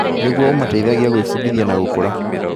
Nĩguo, ũmateithagia gwĩbundithia na gũkũra.